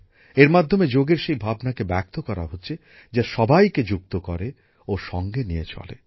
এর মাধ্যমে যোগের সেই ধারণাকে তুলে করা হচ্ছে যা সবাইকে যুক্ত করে ও সঙ্গে নিয়ে চলে